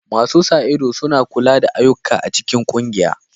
Masu sa ido suna kula da ayyukan a cikin ƙungiya.